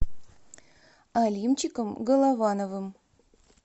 алимчиком головановым